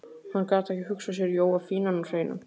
Hann gat ekki hugsað sér Jóa fínan og hreinan.